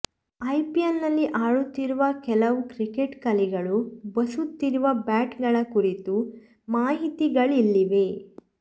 ಐಪಿಎಲ್ನಲ್ಲಿ ಆಡುತ್ತಿರುವ ಕೆಲವು ಕ್ರಿಕೆಟ್ ಕಲಿಗಳು ಬಸುತ್ತಿರುವ ಬ್ಯಾಟ್ಗಳ ಕುರಿತು ಮಾಹಿತಿಗಳಿಲ್ಲಿವೆ